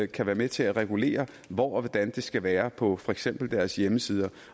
kan være med til at regulere hvor og hvordan det skal være på for eksempel deres hjemmesider